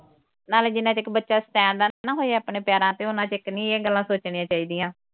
ਨਾਲੇ ਜਿੰਨਾ ਚਿਕ ਬੱਚਾ stand ਨਾ ਨਾ ਹੋਏ ਆਪਣੇ ਪੈਰਾਂ ਤੇ ਓਨਾ ਚਿਕ ਨਈਂ ਇਹ ਗੱਲਾਂ ਸੋਚਣੀਆਂ ਚਾਹੀਦੀਆਂ।